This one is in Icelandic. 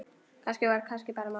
Það var kannski bara málið.